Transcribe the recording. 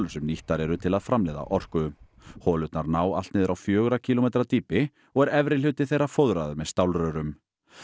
sem nýttar eru til að framleiða orku holurnar ná allt niður á fjögurra kílómetra dýpi og er efri hluti þeirra fóðraður með stálrörum